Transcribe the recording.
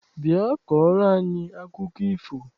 Bịa kọọrọ anyị akụkọ ifo!